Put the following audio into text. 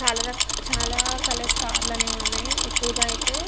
చాలారక్ చాలా కలర్స్ కారులు అన్ని ఉన్నాయి ఎక్కువగ అయితే --